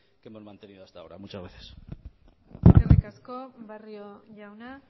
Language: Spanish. que hemos mantenido hasta ahora muchas gracias eskerrik asko barrio jauna